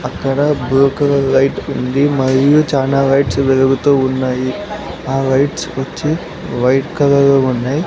అక్కడ blue colour light ఉంది మరియు చానా లైట్స్ వెలుగుతూ ఉన్నాయి ఆ లైట్స్ వచ్చి వైట్ కలర్ లో ఉన్నాయి.